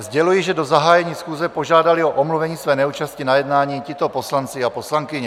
Sděluji, že do zahájení schůze požádali o omluvení své neúčasti na jednání tito poslanci a poslankyně.